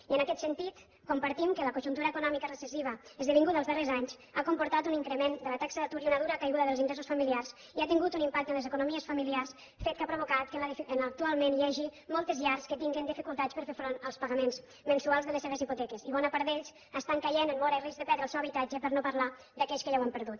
i en aquest sentit compartim que la conjuntura econòmica recessiva esdevinguda els darrers anys ha comportat un increment de la taxa d’atur i una dura caiguda dels ingressos familiars i ha tingut un impacte en les economies familiars fet que ha provocat que actualment hi hagi moltes llars que tinguin dificultats per fer front als pagaments mensuals de les seves hipoteques i bona part d’ells estan caient en mora i risc de perdre el seu habitatge per no parlar d’aquells que ja l’han perdut